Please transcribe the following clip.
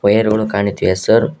Air ಗುಳು ಕಾಣುತ್ತಿವೆ sir .